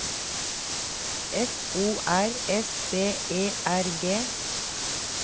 F O R S B E R G